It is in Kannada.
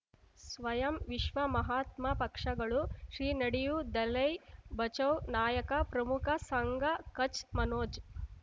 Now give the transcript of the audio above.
ಸ್ವಯಂ ವಿಶ್ವ ಮಹಾತ್ಮ ಪಕ್ಷಗಳು ಶ್ರೀ ನಡೆಯೂ ದಲೈ ಬಚೌ ನಾಯಕ ಪ್ರಮುಖ ಸಂಘ ಕಚ್ ಮನೋಜ್